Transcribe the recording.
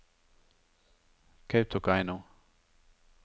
Kautokeino